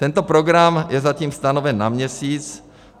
Tento program je zatím stanoven na měsíc.